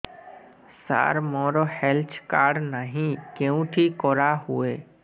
ସାର ମୋର health card ନାହିଁ କେଉଁଠି କରା ହୁଏ